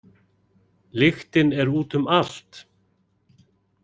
Lyktin er út um allt.